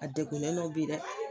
A degunnen nɔ bi dɛ.